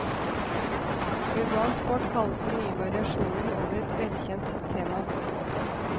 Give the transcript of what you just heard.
Urban sport kalles den nye variasjonen over et velkjent tema.